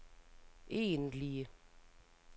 egentlige